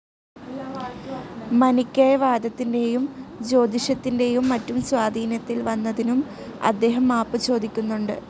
മനിക്കേയ വാദത്തിന്റേയും ജ്യോതിഷത്തിന്റേയും മറ്റും സ്വാധീനത്തിൽ വന്നതിനും അദ്ദേഹം മാപ്പു ചോദിക്കുന്നുണ്ട്.